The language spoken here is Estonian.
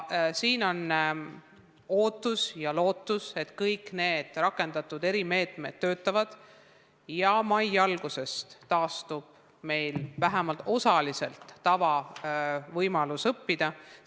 Me ootame ja loodame, et kõik rakendatud erimeetmed toimivad ja mai algusest taastub meil vähemalt osaliselt võimalus õppida tavalisel moel.